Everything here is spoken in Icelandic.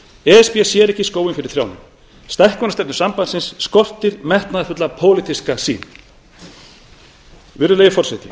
b sér ekki skóginn fyrir trjánum stækkunarstefnu sambandsins skortir metnaðarfulla pólitíska sýn virðulegi forseti